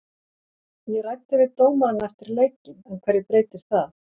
Ég ræddi við dómarann eftir leikinn, en hverju breytir það?